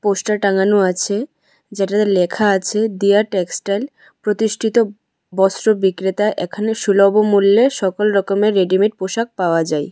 Poster টাঙানো আছে যেটাতে লেখা আছে দিয়া টেক্সটাইল প্রতিষ্ঠিত বস্ত্র বিক্রেতা এখানে সুলভ মূল্যে সকল রকমের রেডিমেড পোশাক পাওয়া যায়।